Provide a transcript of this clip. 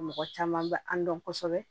Mɔgɔ caman bɛ an dɔn kosɛbɛ